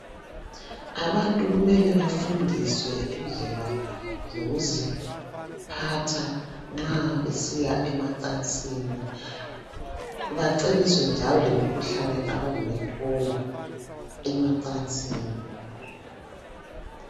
Abantu kumele bafundiswe indlela zokuziphatha nxa besiya emacansini bacebiswe njalo lemikhuhlane abangayithola emacansini.